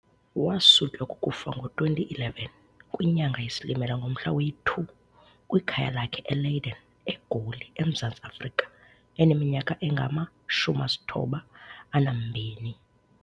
Wasutywa kukufa ngo-2011 kwinyanga yeSilimela ngomhla we-2, kwikhaya lakhe eLeiden, eGoli, eMzantsi Afrika eneminyaka engama-92.